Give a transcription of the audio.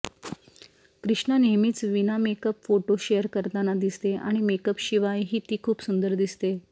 कृष्णा नेहमीच विनामेकअप photo share करताना दिसते आणि मेकअपशिवायही ती खूप सुंदर दिसते